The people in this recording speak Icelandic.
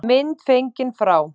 Mynd fengin frá